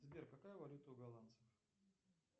сбер какая валюта у голландцев